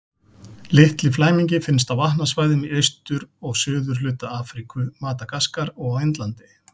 Litli flæmingi finnst á vatnasvæðum í austur- og suðurhluta Afríku, Madagaskar og á Indlandi.